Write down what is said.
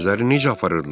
Özlərini necə aparırdılar?